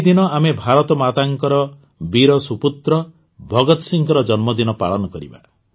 ସେହି ଦିନ ଆମେ ଭାରତମାତାଙ୍କ ବୀର ସୁପୁତ୍ର ଭଗତ ସିଂହଙ୍କ ଜନ୍ମଦିନ ପାଳନ କରିବା